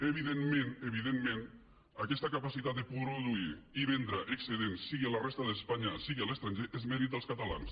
evidentment evidentment aquesta capacitat de produir i vendre excedents sigui a la resta d’espanya sigui a l’estranger és mèrit dels catalans